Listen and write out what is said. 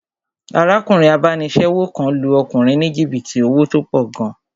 Arákùnrin abánisẹ́wò kan lu ọkùnrin ní jìbìtì owó tó pọ̀ gan